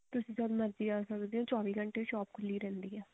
ਤੁਸੀਂ ਜਦ ਮਰਜ਼ੀ ਆ ਸਕਦੇ ਹੋ ਚੋਵੀ ਘੰਟੇ ਸ਼ੋਪ ਖੁੱਲੀ ਰਹਿੰਦੀ ਆ